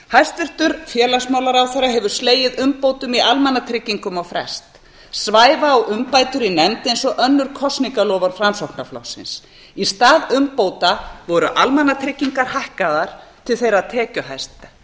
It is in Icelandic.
hæstvirtur félagsmálaráðherra hefur slegið umbótum í almannatryggingum á frest svæfa á umbætur í nefnd eins og önnur kosningaloforð framsóknarflokksins í stað umbóta voru almannatryggingar hækkaðar til þeirra tekjuhæstu